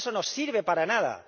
Eso no sirve para nada.